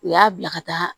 U y'a bila ka taa